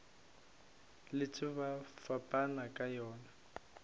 letše ba fapana ka yona